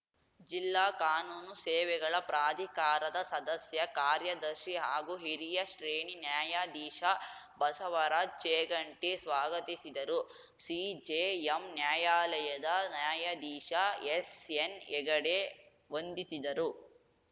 ಜಿಲ್ಲಾ ಕಾನೂನು ಸೇವೆಗಳ ಪ್ರಾಧಿಕಾರದ ಸದಸ್ಯ ಕಾರ್ಯದರ್ಶಿ ಹಾಗೂ ಹಿರಿಯ ಶ್ರೇಣಿ ನ್ಯಾಯಾಧೀಶ ಬಸವರಾಜ್‌ ಚೇಗಂಟಿ ಸ್ವಾಗತಿಸಿದರು ಸಿಜೆಎಂ ನ್ಯಾಯಾಲಯದ ನ್ಯಾಯಾಧೀಶ ಎಸ್‌ಎನ್‌ಹೆಗಡೆ ವಂದಿಸಿದರು